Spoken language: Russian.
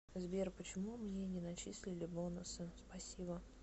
сбер почему мне не начислили бонусы спасибо